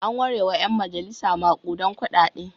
An warewa ƴan majalisa maƙudan kuɗaɗe.